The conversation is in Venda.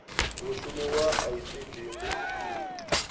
mushumo wa icd ndi ufhio